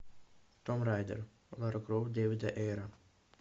томб райдер лара крофт дэвида эйра